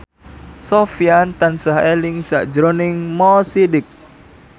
Sofyan tansah eling sakjroning Mo Sidik